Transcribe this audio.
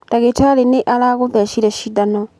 Ndagĩtarĩ nĩ aragũthecire cindano.